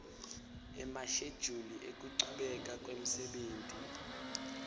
emashejuli ekuchubeka kwemsebenti